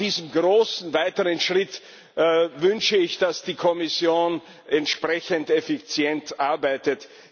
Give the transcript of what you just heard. Bei diesem großen weiteren Schritt wünsche ich, dass die Kommission entsprechend effizient arbeitet.